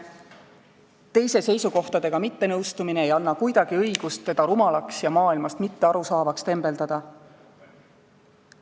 Teise seisukohtadega mittenõustumine ei anna kuidagi õigust teda rumalaks ja maailmast mitte aru saavaks tembeldada.